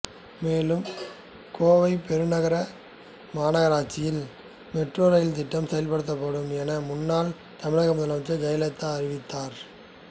மேலும் கோவை பெருநகர மாநகராட்சியில் மெட்ரோ ரயில் திட்டம் செயல்படுத்தப்படும் என முன்னாள் தமிழக முதலமைச்சர் ஜெயலலிதா அறிவித்தார்